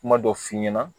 Kuma dɔ f'i ɲɛna